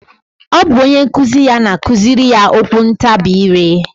Ọ bụ onyenkuzi ya na-akụzirị ya okwuntabi ire a